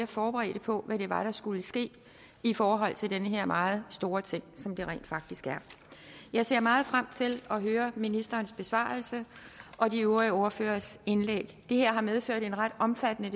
forberedt på hvad det var der skulle ske i forhold til den her meget store ting som det rent faktisk er jeg ser meget frem til at høre ministerens besvarelse og de øvrige ordføreres indlæg det her har allerede medført en ret omfattende